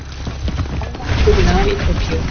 Rafmagn tekið af í Tókýó